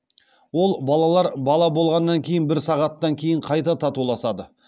ол балалар бала болғаннан кейін бір сағаттан кейін қайта татуласады